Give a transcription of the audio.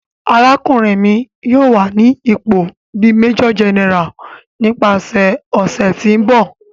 Arakunrin mi yoo wa ni ipo bi Major General nipasẹ ọsẹ ti n bọ.